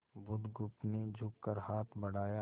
बुधगुप्त ने झुककर हाथ बढ़ाया